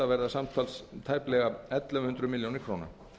verða samtals tæplega ellefu hundruð milljónir króna